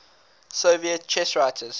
soviet chess writers